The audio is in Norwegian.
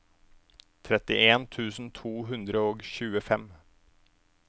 trettien tusen to hundre og tjuefem